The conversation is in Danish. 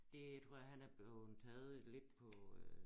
Det tror jeg han er bleven taget lidt på øh